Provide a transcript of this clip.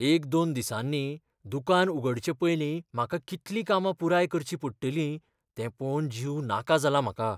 एक दोन दिसांनी दुकान उगडचे पयलीं म्हाका कितलीं कामां पुराय करचीं पडटलीं तें पळोवन जीव नाका जाला म्हाका.